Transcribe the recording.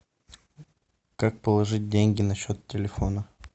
как положить деньги на счет телефона